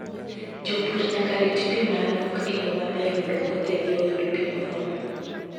Jopur nyaka rit pi ma nok e yo maber mondo puothegi oyud pi moromo.